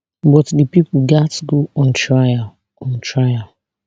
but di pipo gatz go on trial on trial